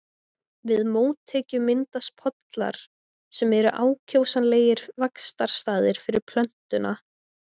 Við mótekju myndast pollar sem eru ákjósanlegir vaxtarstaðir fyrir plöntuna.